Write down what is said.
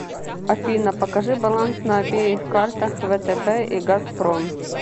афина покажи баланс на обеих картах втб и газпром